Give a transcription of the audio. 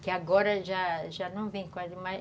Que agora já já não vem quase mais.